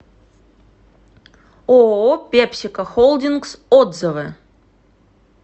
ооо пепсико холдингс отзывы